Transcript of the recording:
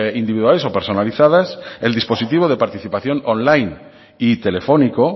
individuales o personalizadas el dispositivo de participación on line y telefónico